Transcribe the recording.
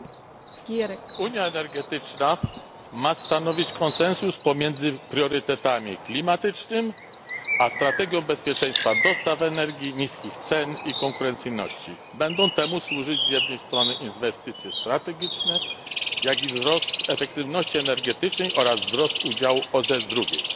Pani Przewodnicząca! Unia energetyczna ma stanowić konsensus pomiędzy priorytetami klimatycznymi a strategią bezpieczeństwa dostaw energii, niskich cen i konkurencyjności. Będą temu służyć z jednej strony inwestycje strategiczne, jak i wzrost efektywności energetycznej oraz wzrost udziału OZE z drugiej.